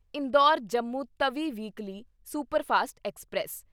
Indore Jammu Tawi weekly superfast express